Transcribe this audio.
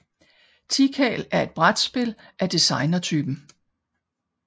Tikal er et brætspil af designertypen